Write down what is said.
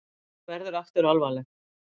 Hún verður aftur alvarleg.